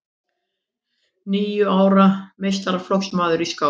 Níu ára meistaraflokksmaður í skák